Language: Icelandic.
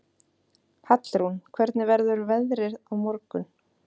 Hallrún, hvernig verður veðrið á morgun?